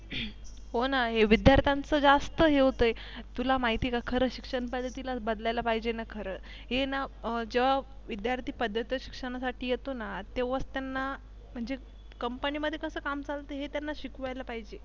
हो न हे विद्यार्थ्यांचं ज्यास्त हे होतय. तुला महिती आहे का खर शिक्षण पद्धतीलाच बदलायला पाहिजे ना खरं. हे ना जेव्हा विद्यार्थी पदव्युत्तर शिक्षणासाठी येतो ना तेव्हाच त्यांना म्हणजे Company मध्ये कस चालत हे त्यांना शिकवायला पाहिजे.